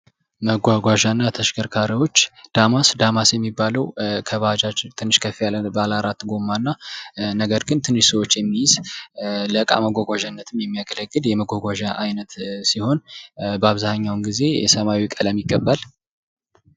መጓጓዣ እና ተሽከርካሪዎች ዳማስ፦ ዳማስ የሚባለው ከባጅጅ ትንሽ ከፍ ያለ አራት ጎማና ነገር ግን ትንሽ ሰዎች የሚይዝ ለቃ መጓጓዣነትም የሚያገለግል የመጓዣ አይነት ሲሆን በአብዛኛውን ጊዜ ሰማያዊ ቀለም ይቀባል።